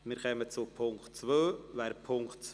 Wir kommen zum Punkt 3.